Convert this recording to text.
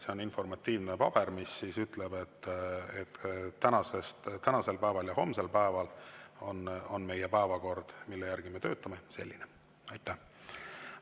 See on informatiivne paber, mis ütleb, et tänasel päeval ja homsel päeval on meie päevakord, mille järgi me töötame, selline.